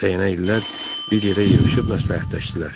Dəyənəlilər bir yerə yığışıb məsləhətləşdilər.